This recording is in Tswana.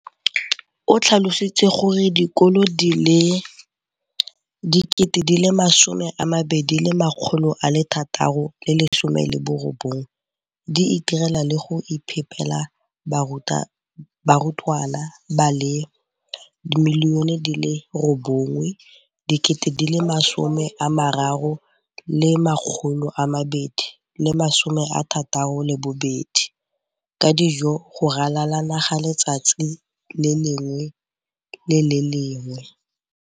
o tlhalositse gore dikolo di le 20 619 di itirela le go iphepela barutwana ba le 9 032 622 ka dijo go ralala naga letsatsi le lengwe le le lengwe.